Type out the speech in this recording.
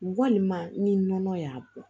Walima ni nɔnɔ y'a bɔ